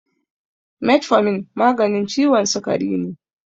Metformin maganin ciwon sikari ne.